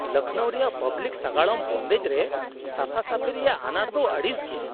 ᱞᱚᱠᱷᱱᱳ ᱨᱮᱭᱟᱜ ᱯᱟᱵᱞᱤᱠ ᱥᱟᱜᱟᱲᱚᱢ ᱵᱚᱱᱫᱮᱡ ᱨᱮ ᱥᱟᱯᱷᱟᱼᱥᱟᱹᱯᱷᱤ ᱨᱮᱭᱟᱜ ᱟᱱᱟᱴ ᱫᱚ ᱟᱹᱲᱤᱥ ᱜᱮᱭᱟ ᱾